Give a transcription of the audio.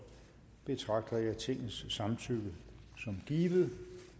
betragter jeg tingets samtykke som givet